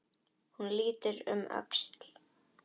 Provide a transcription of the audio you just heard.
Hún lítur um öxl.